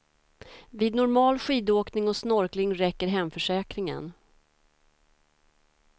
Vid normal skidåkning och snorkling räcker hemförsäkringen.